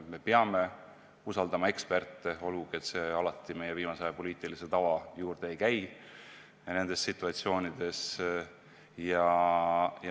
Me peame usaldama eksperte, olgugi et viimasel ajal pole see alati neis situatsioonides meie poliitilise tava juurde kuulunud.